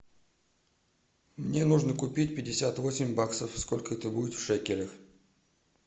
мне нужно купить пятьдесят восемь баксов сколько это будет в шекелях